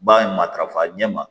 Ba ye matarafa ɲɛ ma